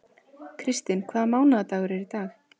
Kristinn, hvaða mánaðardagur er í dag?